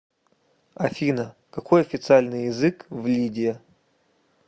афина какой официальный язык в лидия